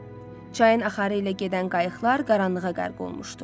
Çayın axarı ilə gedən qayıqlar qaranlığa qərq olmuşdu.